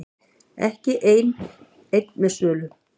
Ekki einn með sölu